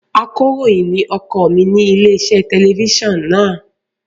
Akọ̀ròyìn ni ọkọ mi ní ilé-iṣẹ́ tẹlifíṣàn náà.